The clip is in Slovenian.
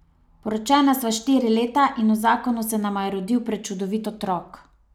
Poročena sva štiri leta in v zakonu se nama je rodil prečudovit otrok.